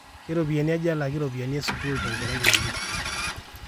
keropiyani aja elaki ropiyani e sukuul tenkerai ngejuk